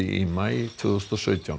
í maí tvö þúsund og sautján